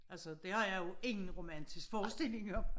Altså det har jeg jo ingen romantisk forestilling om